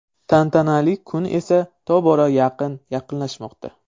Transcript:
Tantanali kun esa tobora yaqin yaqinlashmoqda.